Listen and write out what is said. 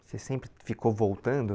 Você sempre ficou voltando?